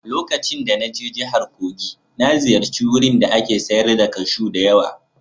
Lokacin da na je jihar Kogi na ziyarci wurin da ake sayar da kashu da yawa